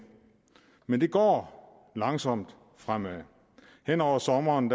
men det går langsomt fremad hen over sommeren